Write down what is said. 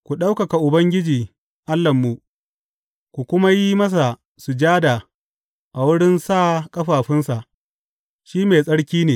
Ku ɗaukaka Ubangiji Allahnmu ku kuma yi masa sujada a wurin sa ƙafafunsa; shi mai tsarki ne.